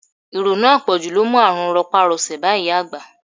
Ìrònú apoju ló mú àrùn ropa-rose bá ìyá àgbà.